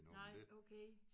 Nej okay